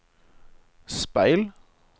speil